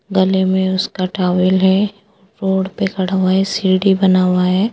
गले में उसका टॉवल है रोड पे खड़ा हुआ है सीढ़ी बना हुआ है।